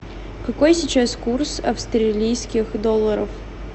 какой сейчас курс австралийских долларов